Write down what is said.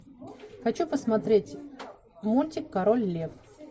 хочу посмотреть мультик король лев